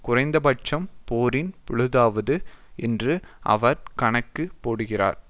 குறைந்தபட்சம் போரின் பொழுதாவது என்று அவர் கணக்கு போடுகிறார்